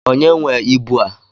Onye nwee ịbụ a?